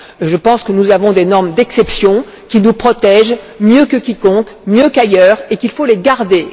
Je pense que nous avons des normes d'exception, qui nous protègent mieux que quiconque, mieux qu'ailleurs et qu'il faut les garder.